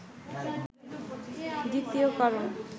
দ্বিতীয় কারণ